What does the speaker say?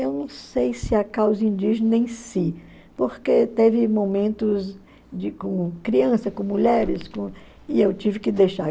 Eu não sei se a causa indígena em si, porque teve momentos de com crianças, com mulheres, e eu tive que deixar.